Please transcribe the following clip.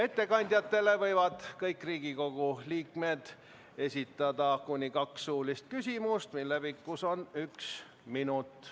Ettekandjatele võivad kõik Riigikogu liikmed esitada kuni kaks suulist küsimust, mille pikkus on üks minut.